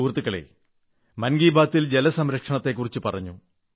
സുഹൃത്തുക്കളേ മൻ കീ ബാത്തിൽ ജല സംരക്ഷണത്തെക്കുറിച്ചു പറഞ്ഞു